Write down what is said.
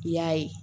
I y'a ye